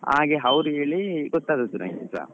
ಹಾಗೆ ಅವ್ರು ಹೇಳಿ ಗೊತ್ತಾದದ್ದು ನನ್ಗೆಸ.